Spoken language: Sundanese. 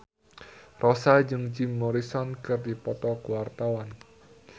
Rossa jeung Jim Morrison keur dipoto ku wartawan